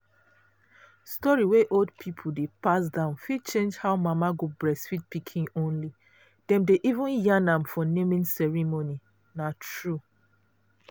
story wey old people dey pass down fit change how mama go breastfeed pikin only. dem dey even yarn am for naming ceremony. na true.